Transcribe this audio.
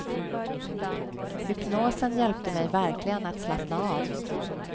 Hypnosen hjälpte mig verkligen att slappna av.